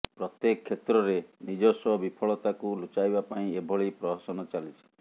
ପ୍ରତ୍ୟେକ କ୍ଷେତ୍ରରେ ନିଜସ୍ୱ ବିଫଳତାକୁ ଲୁଚାଇବା ପାଇଁ ଏଭଳି ପ୍ରହସନ ଚାଲିଛି